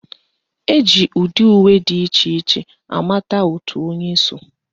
Eji ụdị uwe dị iche iche amata òtù onye so